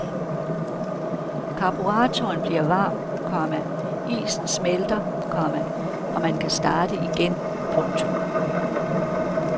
Karburatoren bliver varm, komma isen smelter, komma og man kan starte igen. punktum